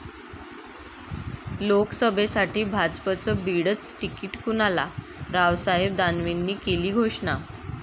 लोकसभेसाठी भाजपचं बीडचं तिकीट कुणाला? रावसाहेब दानवेंनी केली घोषणा!